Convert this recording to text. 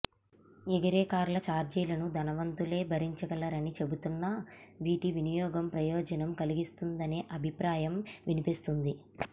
ఎగిరేకార్ల చార్జీలను ధనవంతులే భరించగలరని చెబుతున్నా వీటి వినియోగం ప్రయోజనం కలిగిస్తుందనే అభిప్రాయం వినిపిస్తోంది